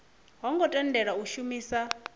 ho ngo tendelwa u shumisa